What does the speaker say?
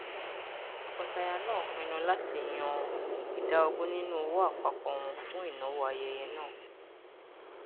tọkọtaya náà pinnu láti yan ìdá ogún nínú owó àpapọ wọn fún ìnáwó ayẹyẹ náà